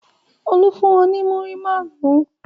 Olú fún ọ ní múrí márùn-ún?